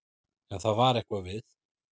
En það var eitthvað við